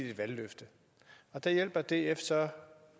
et valgløfte der hjælper df så